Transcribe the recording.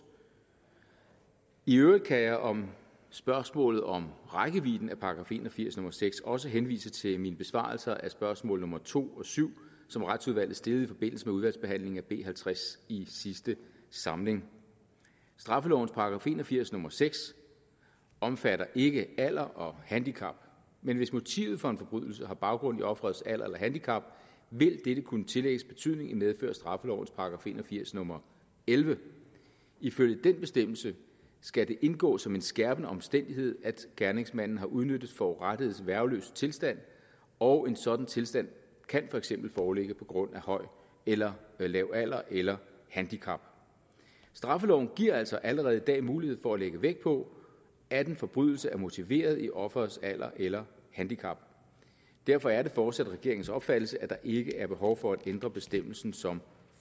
i øvrigt kan jeg om spørgsmålet om rækkevidden af § en og firs nummer seks også henvise til min besvarelse af spørgsmål nummer to og syv som retsudvalget stillede i forbindelse med udvalgsbehandlingen af b halvtreds i sidste samling straffelovens § en og firs nummer seks omfatter ikke alder og handicap men hvis motivet for en forbrydelse har baggrund i offerets alder eller handicap vil dette kunne tillægges betydning i medfør af straffelovens paragraf en og firs nummer ellevte ifølge den bestemmelse skal det indgå som en skærpende omstændighed at gerningsmanden har udnyttet forurettedes værgeløse tilstand og en sådan tilstand kan for eksempel foreligge på grund af høj eller lav alder eller handicap straffeloven giver altså allerede i dag mulighed for at lægge vægt på at en forbrydelse er motiveret i offerets alder eller handicap derfor er det fortsat regeringens opfattelse at der ikke er behov for at ændre bestemmelsen som